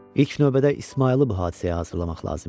İlk növbədə İsmayılı bu hadisəyə hazırlamaq lazım idi.